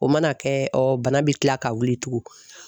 O mana kɛ ɔ bana bɛ tila ka wuli tugun.